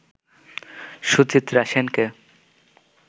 সুচিত্রা সেনকে